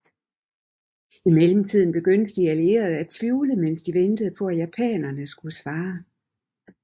I mellemtiden begyndte de allierede at tvivle mens de ventede på at japanerne skulle svare